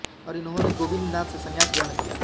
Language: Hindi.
और इन्होंने गोविन्द नाथ से संन्यास ग्रहण किया